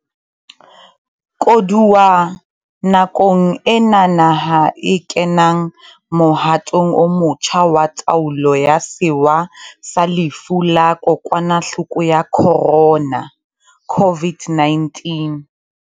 Koduwa nakong ena naha e kenang mohatong o motjha wa taolo ya sewa sa lefu la Kokwanahloko ya Khorona, COVID-19,